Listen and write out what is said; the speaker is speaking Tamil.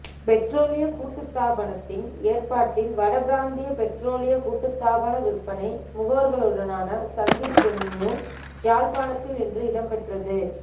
பெற்றோலிய கூட்டுத்தாபனத்தின் ஏற்பாட்டில் வட பிராந்திய பெற்றோலிய கூட்டுத்தாபன விற்பனை முகவர்களுடனான சந்திப்பொன்யு யாழ்ப்பாணத்தில் இன்று இடம்பெற்றது